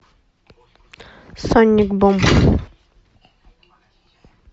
сонник бум